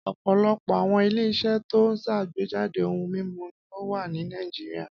Ọ̀pọ̀lọpọ̀ àwọn ilé-iṣẹ́ tó ń ṣàgbéjáde ohun-mímu ni ó wà ní Nàìjíríà.